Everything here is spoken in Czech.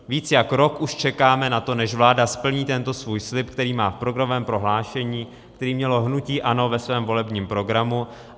Víc jak rok už čekáme na to, než vláda splní tento svůj slib, který má v programovém prohlášení, který mělo hnutí ANO ve svém volebním programu.